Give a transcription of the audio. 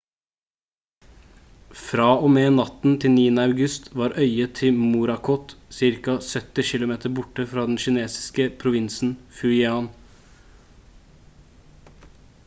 fra og med natten til 9. august var øyet til morakot ca 70 km borte fra den kinesiske provinsen fujian